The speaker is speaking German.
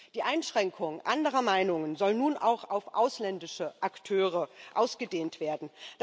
Die Einschränkung anderer Meinungen soll nun auch auf ausländische Akteure ausgedehnt werden.